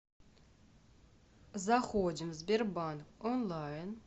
заходим сбербанк онлайн